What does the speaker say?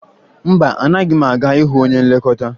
Mba, anaghị m aga ịhụ onye nlekọta